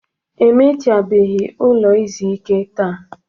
E mechabeghị ụlọ izu ike taa.